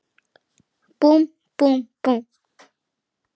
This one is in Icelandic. Búmm, búmm, búmm.